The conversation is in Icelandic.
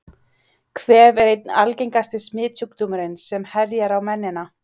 Kvef er einn algengasti smitsjúkdómurinn sem herjar á mennina.